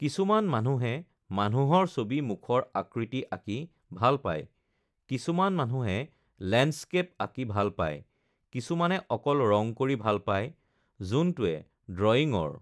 কিছুমান মানুহে মানুহৰ ছবি মুখৰ আকৃতি আঁকি ভাল পায়, কিছুমান মানুহে লেণ্ডস্কেপ আঁকি ভাল পায়, কিছুমানে অকল ৰঙ কৰি ভাল পায় যোনটোৱে ড্ৰয়িংৰ